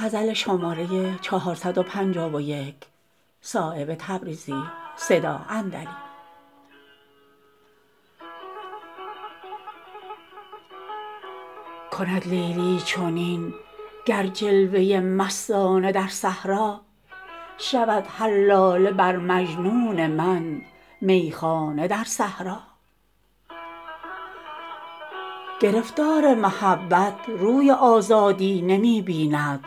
کند لیلی چنین گر جلوه مستانه در صحرا شود هر لاله بر مجنون من میخانه در صحرا گرفتار محبت روی آزادی نمی بیند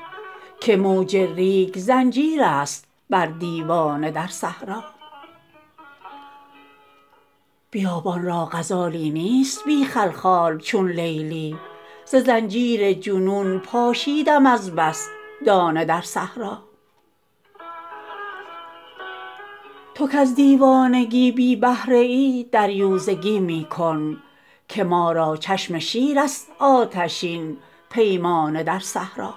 که موج ریگ زنجیرست بر دیوانه در صحرا بیابان را غزالی نیست بی خلخال چون لیلی ز زنجیر جنون پاشیدم از بس دانه در صحرا تو کز دیوانگی بی بهره ای دریوزه می کن که ما را چشم شیرست آتشین پیمانه در صحرا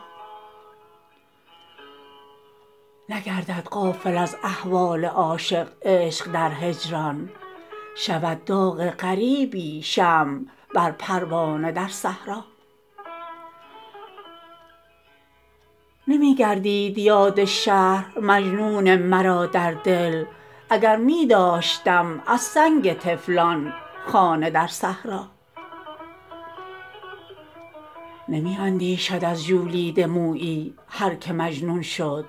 نگردد غافل از احوال عاشق عشق در هجران شود داغ غریبی شمع بر پروانه در صحرا نمی گردید یاد شهر مجنون مرا در دل اگر می داشتم از سنگ طفلان خانه در صحرا نمی اندیشد از ژولیده مویی هر که مجنون شد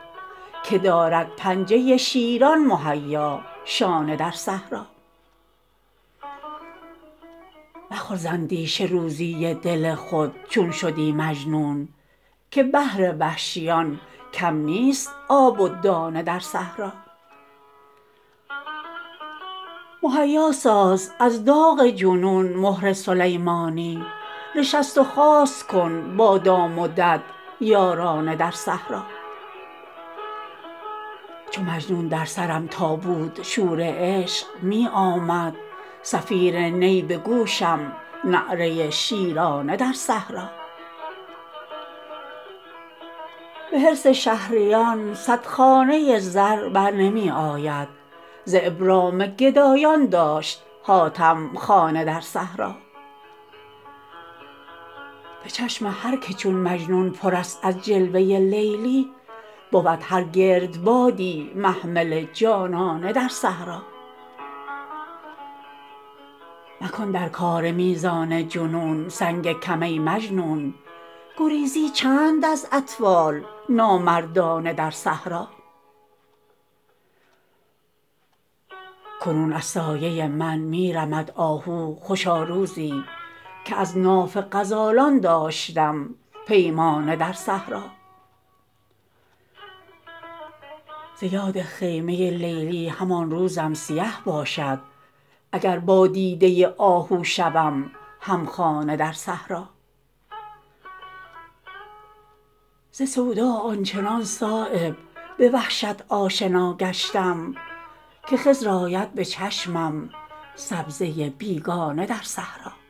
که دارد پنجه شیران مهیا شانه در صحرا مخور ز اندیشه روزی دل خود چون شدی مجنون که بهر وحشیان کم نیست آب و دانه در صحرا مهیا ساز از داغ جنون مهر سلیمانی نشست و خاست کن با دام و دد یارانه در صحرا چو مجنون در سرم تا بود شور عشق می آمد صفیر نی به گوشم نعره شیرانه در صحرا به حرص شهریان صد خانه زر برنمی آید ز ابرام گدایان داشت حاتم خانه در صحرا به چشم هر که چون مجنون پرست از جلوه لیلی بود هر گردبادی محمل جانانه در صحرا مکن در کار میزان جنون سنگ کم ای مجنون گریزی چند از اطفال نامردانه در صحرا کنون از سایه من می رمد آهو خوشا روزی که از ناف غزالان داشتم پیمانه در صحرا ز یاد خیمه لیلی همان روزم سیه باشد اگر با دیده آهو شوم همخانه در صحرا ز سودا آنچنان صایب به وحشت آشنا گشتم که خضر آید به چشمم سبزه بیگانه در صحرا